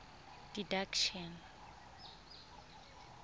didactician